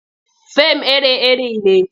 Fim iri-iri ne.